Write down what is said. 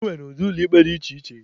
E nwere ụdị ụlọ ikpe dị iche iche